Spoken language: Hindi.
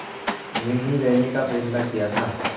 में ही रहने का फ़ैसला किया था